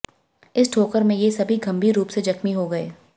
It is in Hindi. इस ठोकर में ये सभी गंभीर रूप से जख्मी हो गए